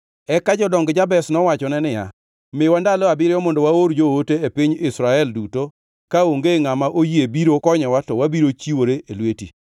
Eka jodong Jabesh nowachone niya, “Miwa ndalo abiriyo mondo waor joote e piny Israel duto kaonge ngʼama oyie biro konyowa to wabiro chiwore e lweti.”